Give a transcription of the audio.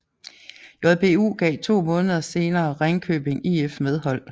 JBU gav to måneder senere Ringkøbing IF medhold